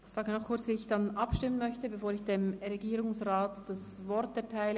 Ich sage noch kurz, wie ich dann abstimmen möchte, bevor ich dem Regierungsrat das Wort erteile.